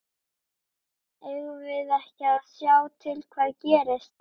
Eigum við ekki að sjá til hvað gerist?